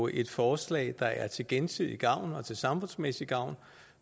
et forslag der er til gensidig gavn og til samfundsmæssig gavn